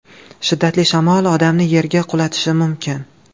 Shiddatli shamol odamni yerga qulatishi mumkin.